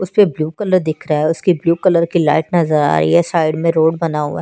उसपे blue colour दिख रहा है उसके ब्लू कलर की लाइट नज़र आरही है साइड में रोड बना हुआ है।